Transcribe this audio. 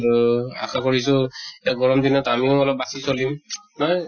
আৰু আশা কৰিছো, এতিয়া গৰম দিনত আমিও অলপ বাচি চলিম । নহয়?